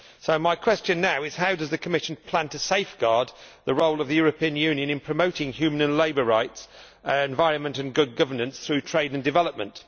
So my question now is how does the Commission plan to safeguard the role of the European Union in promoting human and labour rights, and environment and good governance through trade and development?